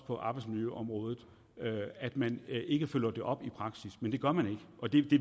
på arbejdsmiljøområdet og at man ikke følger det op i praksis men det gør man ikke og det